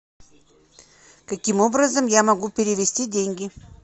каким образом я могу перевести деньги